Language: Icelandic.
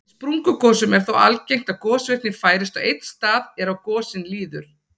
Í sprungugosum er þó algengt að gosvirknin færist á einn stað er á gosin líður.